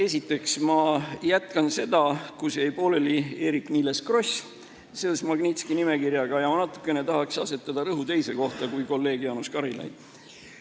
Esiteks, ma jätkan seda, kus jäi pooleli Eerik-Niiles Kross seoses Magnitski nimekirjaga, aga ma tahaks asetada rõhu natukene teise kohta kui kolleeg Jaanus Karilaid.